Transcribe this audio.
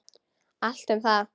Allt um það.